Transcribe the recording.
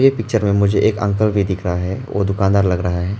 Picture मे मुझे एक अंकल भी दिख रहा है वो दुकानदार लग रहा है।